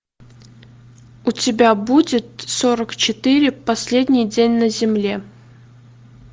у тебя будет сорок четыре последний день на земле